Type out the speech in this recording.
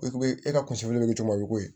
E be e ka kunfiriman ko ye